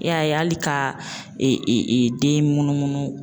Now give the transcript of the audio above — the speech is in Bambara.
E y'a ye hali ka e e den munumunu.